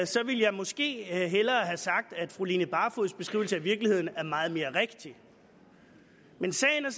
så ville jeg måske hellere have sagt at fru line barfods beskrivelse af virkeligheden er meget mere rigtig men sagen er